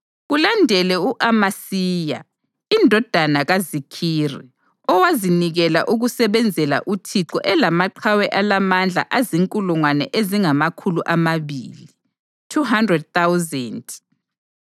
kulandele u-Amasiya indodana kaZikhiri, owazinikela ukusebenzela uThixo elamaqhawe alamandla azinkulungwane ezingamakhulu amabili (200,000).